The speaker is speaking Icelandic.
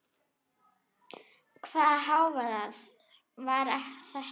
Hvaða hávaði var þetta?